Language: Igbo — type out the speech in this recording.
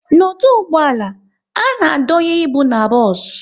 N'ọdụ ụgbọala, a na-adonye ịbụ n'bos